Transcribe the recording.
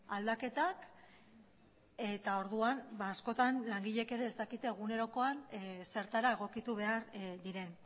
aldaketak eta orduan askotan langileek ere ez dakite egunerokoan zertara egokitu behar diren